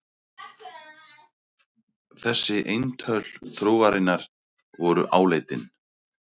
Þessi eintöl trúarinnar voru áleitin.